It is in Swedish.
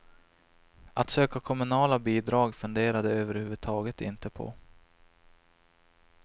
Att söka kommunala bidrag funderar de överhuvudtaget inte på.